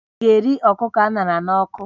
Ị ga-eri ọkụkọ a ṅara n'ọkụ?